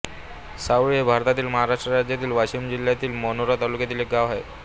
सावळी हे भारतातील महाराष्ट्र राज्यातील वाशिम जिल्ह्यातील मानोरा तालुक्यातील एक गाव आहे